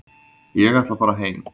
Ég ætla að fara heim.